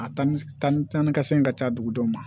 A tali taa ni ka segin ka ca dugudenw ma